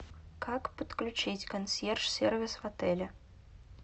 как подключить консьерж сервис в отеле